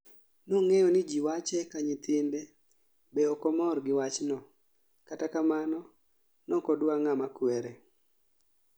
Nong'eyo ni ji wache ka nyithinde be okomor gi wachno kata kamano nokodwa ng'a makwere